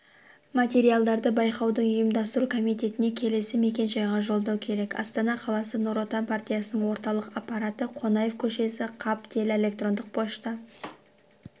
материалдарды байқаудың ұйымдастыру комитетіне келесі мекен-жайға жолдау керек астана қаласы нұр отан партиясының орталық аппараты қонаев көшесі каб тел электрондық пошта